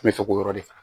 N bɛ fɛ k'o yɔrɔ de faga